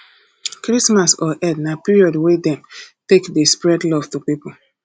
christmas or eid na period wey dem take de spread love to pipo